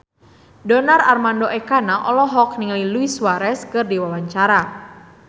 Donar Armando Ekana olohok ningali Luis Suarez keur diwawancara